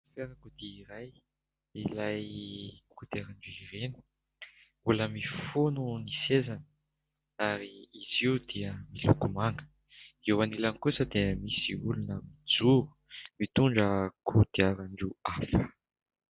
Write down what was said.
Fiarakodia iray ilay kodiarana vy ireny mbola mifono ny sezany ary izy io dia miloko manga eo anilany kosa dia misy olona mijoro mitondra kodiara-ndroa hafa.